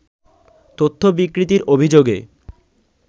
তথ্য বিকৃতির অভিযোগে